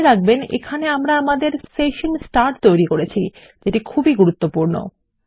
মনে রাখবেন এখানে আমরা আমাদের সেশন স্টার্ট তৈরী করেছি যেটি খুবই গুরুত্বপূর্ণ